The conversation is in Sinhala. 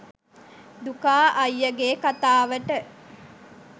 දුකා අයියගේ කතාවට